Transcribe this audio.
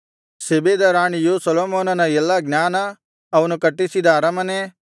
ಶೆಬೆದ ರಾಣಿಯು ಸೊಲೊಮೋನನ ಎಲ್ಲಾ ಜ್ಞಾನ ಅವನು ಕಟ್ಟಿಸಿದ ಅರಮನೆ